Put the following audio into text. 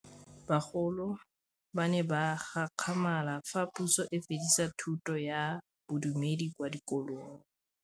Bagolo ba ne ba gakgamala fa Pusô e fedisa thutô ya Bodumedi kwa dikolong.